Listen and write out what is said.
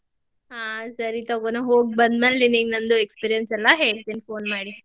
ಹಾ ಸರಿ ತಗೋ ನಾ ಹೋಗಿ ಬಂದಮ್ಯಾಲೆ ನಿನಿಗ್ ನಂದು experience ಎಲ್ಲಾ ಹೇಳ್ತೇನಿ phone ಮಾಡಿ.